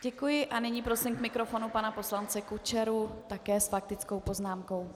Děkuji a nyní prosím k mikrofonu pana poslance Kučeru také s faktickou poznámkou.